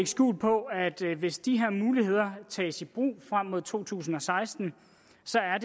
skjul på at hvis de her muligheder tages i brug frem mod to tusind og seksten